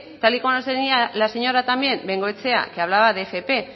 tal y como defendía la señora bengoechea también que hablaba de fp